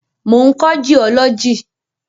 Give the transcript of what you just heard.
Mo ń kọ́ jiọ́lọ́jì.